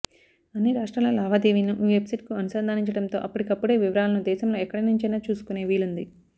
అన్ని రాష్ర్టాల లావాదేవీలను ఈ వెబ్సైట్కు అనుసంధానించడంతో అప్పటికప్పుడే వివరాలను దేశంలో ఎక్కడినుంచైనా చూసుకునే వీలు ఉంది